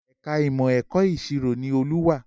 Ẹ̀ka ìmọ̀ ẹ̀kọ́ ìṣirò ni Olú wà